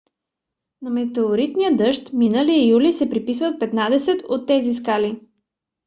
на метеоритния дъжд миналия юли се приписват петнадесет от тези скали